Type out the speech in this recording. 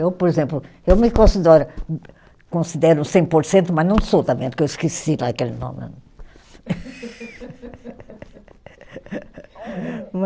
Eu, por exemplo, eu me considero considero cem por cento, mas não sou também, porque eu esqueci lá aquele nome.